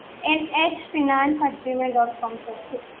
NH finance at gmail dot com sir